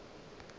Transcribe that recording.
gore ke be ke sa